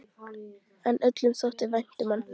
En öllum þótti vænt um hann.